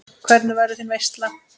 Hvernig verður þín veisla?